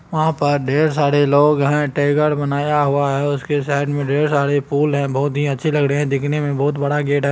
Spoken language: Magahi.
वहाँ पर ढेर सारे लोग हैं | टाईगर बनाया हुआ है | उसके साईड मे ढेर सारे फूल हैं | बहुत ही अच्छे लग रहे हैं | दिख़ने मे बहुत बड़ा गेट है।